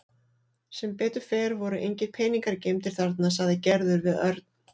Sem betur fer voru engir peningar geymdir þarna sagði Gerður við Örn.